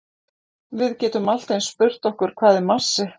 Við getum allt eins spurt okkur hvað er massi?